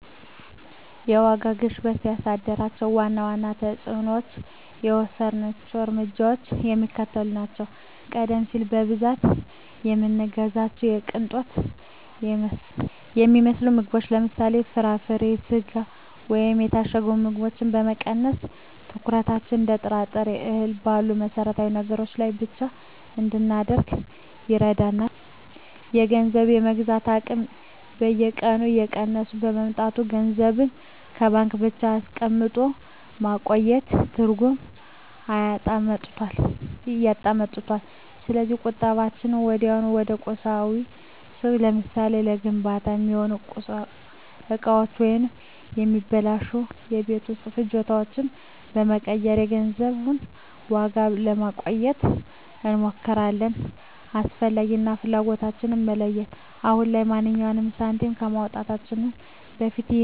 የዋጋ ግሽበቱ ያሳደራቸው ዋና ዋና ተፅዕኖዎችና የወሰድናቸው እርምጃዎች የሚከተሉት ናቸው፦ ቀደም ሲል በብዛት የምንገዛቸውን የቅንጦት የሚመስሉ ምግቦችን (ለምሳሌ፦ ፍራፍሬ፣ ስጋ ወይም የታሸጉ ምግቦች) በመቀነስ፣ ትኩረታችንን እንደ ጥራጥሬና እህል ባሉ መሠረታዊ ነገሮች ላይ ብቻ እንድናደርግ አድርጎናል። የገንዘብ የመግዛት አቅም በየቀኑ እየቀነሰ በመምጣቱ፣ ገንዘብን በባንክ ብቻ አስቀምጦ ማቆየት ትርጉም እያጣ መጥቷል። ስለዚህ ቁጠባችንን ወዲያውኑ ወደ ቁሳቁስ (ለምሳሌ፦ ለግንባታ የሚሆኑ እቃዎች ወይም የማይበላሹ የቤት ውስጥ ፍጆታዎች) በመቀየር የገንዘቡን ዋጋ ለማቆየት እንሞክራለን። "አስፈላጊ" እና "ፍላጎት"ን መለየት፦ አሁን ላይ ማንኛውንም ሳንቲም ከማውጣታችን በፊት "ይህ ነገር አሁን ለህልውናችን የግድ ያስፈልጋል?" የሚለውን ጥያቄ ደጋግመን እንጠይቃለን።